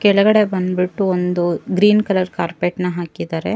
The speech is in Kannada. ಕೆಳಗಡೆ ಬಂದ್ಬಿಟ್ಟು ಒಂದು ಗ್ರೀನ್ ಕಲರ್ ಕಾರ್ಪೆಟ್ ನ ಹಾಕಿದ್ದಾರೆ.